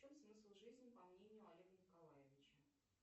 в чем смысл жизни по мнению олега николаевича